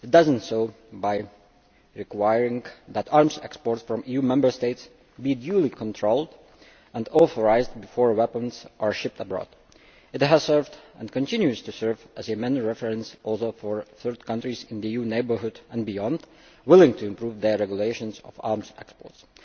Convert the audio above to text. It does so by requiring that arms exports from EU Member States be duly controlled and authorised before weapons are shipped abroad. It has served, and continues to serve, as a reference also for third countries in the EU neighbourhood and beyond which are willing to improve their regulations on arms exports.